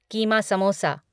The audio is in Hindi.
कीमा समोसा